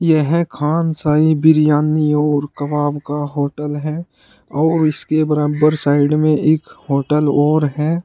यह खान शाही बिरयानी और कबाब का होटल है और इसके बराबर साइड में एक होटल और है।